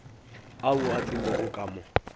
ao a tsenego ka mo